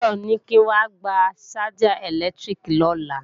Táyọ̀ ní kí n wá gba ṣájà ẹ̀lẹ́tíríkì lọ́la